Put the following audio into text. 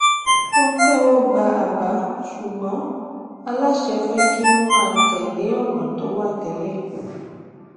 wọn tẹwọ gba àbá ṣùgbọn aláṣẹ fẹ kí wọn máa tẹlé ònà tó wà télè